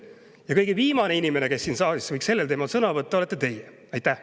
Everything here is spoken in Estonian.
Ja kõige viimane inimene, kes siin saalis võiks sellel teemal sõna võtta, olete teie.